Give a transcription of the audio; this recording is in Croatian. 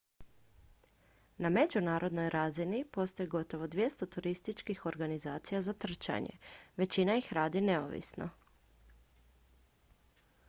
na međunarodnoj razini postoji gotovo 200 turističkih organizacija za trčanje većina ih radi neovisno